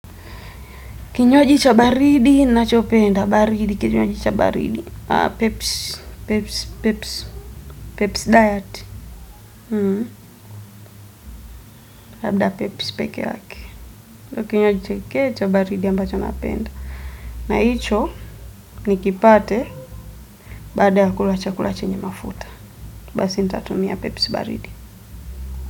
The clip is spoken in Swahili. Kinywaji cha baridi, ninacho penda baridi, kinywaji cha baridi, pepsi, pepsi, pepsi, pepsi diet labda pepsi, pepsi, peke yake. Kinywaji chake cha baridi ambacho napenda. Na icho, nikipate baada ya kula chakula chenye mafuta basi, nitatumia pepsi baridi.